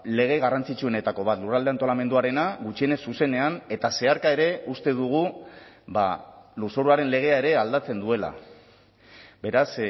lege garrantzitsuenetako bat lurralde antolamenduarena gutxienez zuzenean eta zeharka ere uste dugu lurzoruaren legea ere aldatzen duela beraz